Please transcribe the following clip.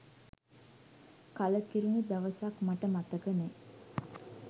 කලකිරුණු දවසක් මට මතක නෑ.